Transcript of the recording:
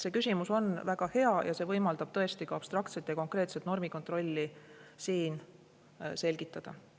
See küsimus on väga hea ja see võimaldab tõesti ka abstraktset ja konkreetset normikontrolli siin selgitada.